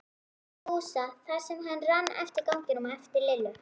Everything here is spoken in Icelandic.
Fúsa þar sem hann rann eftir ganginum á eftir Lillu.